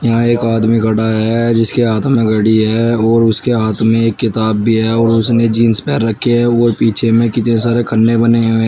यहां एक आदमी खड़ा है जिसके हाथ में घड़ी है और उसके हाथ में एक किताब भी है और उसने जींस पहन रखे हैं और पीछे में कितने सारे खन्ने बने हुए --